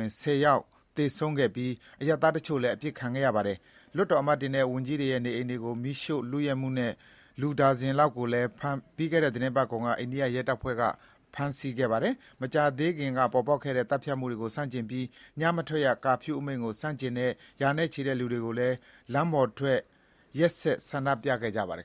င် ၁၀ ယောက်သေဆုံးခဲ့ပြီး အရပ်သားတချို့လည်း အသတ်ခံခဲ့ရပါတယ်။ လွှတ်တော်အမတ်တွေနဲ့ဝန်ကြီးတွေရဲ့ နေအိမ်တွေကို မီးရှို့လုယက်မှုနဲ့ လူ နှစ်ဒါဇင်လောက်ကိုလည်း ပြီးခဲ့တဲ့ သီတင်းပတ်ကုန်က အိန္ဒိယရဲတွေက ဖမ်းဆီးလိုက်ပါတယ်။ မကြာသေးခင်က ပေါ်ပေါက်ခဲ့တဲ့ သတ်ဖြတ်မှုတွေကို ဆန့်ကျင်ပြီး ညမထွက်ရ ကာဖြူးအမိန့်ကို ဆန့်ကျင်တဲ့ ရာနဲ့ချီတဲ့ လူတွေကလည်း လမ်းပေါ်ထွက်ပြီး နေ့စဥ်ဆန္ဒပြခဲ့ကြပါတယ်